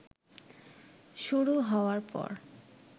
শুরু হওয়ার পর